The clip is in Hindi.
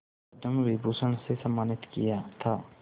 पद्म विभूषण से सम्मानित किया था